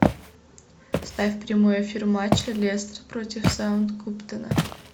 вставь прямой эфир матча лестер против саутгемптона